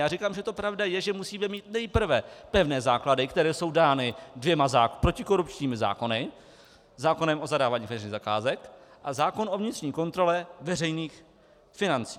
Já říkám, že to pravda je, že musíme mít nejprve pevné základy, které jsou dány dvěma protikorupčními zákony - zákonem o zadávání veřejných zakázek a zákonem o vnitřní kontrole veřejných financí.